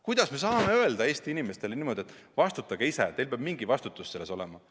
Kuidas me võime öelda Eesti inimestele niimoodi, et vastutage ise, teil peab mingi vastutus selle eest olema?